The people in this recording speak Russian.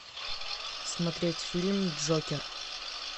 смотреть фильм джокер